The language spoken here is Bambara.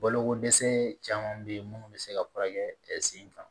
Balokodɛsɛ caman bɛ yen minnu bɛ se ka furakɛ sen kan